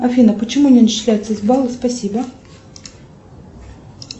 афина почему не начисляются баллы спасибо